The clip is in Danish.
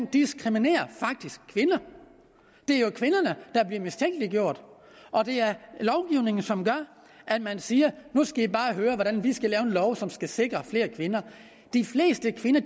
diskriminerer kvinder det er jo kvinderne der bliver mistænkeliggjort og det er lovgivningen som gør at man siger nu skal i bare høre hvordan vi skal lave en lov som skal sikre flere kvinder i bestyrelser de fleste kvinder